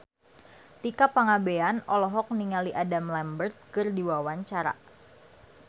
Tika Pangabean olohok ningali Adam Lambert keur diwawancara